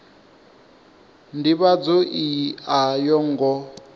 ndivhadzo iyi a yo ngo